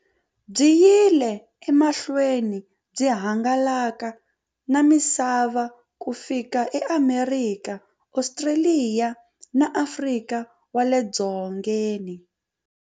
Byi yile emahlweni byi hangalaka na misava ku fika e Amerika, Ostraliya na Afrika wale dzongeni.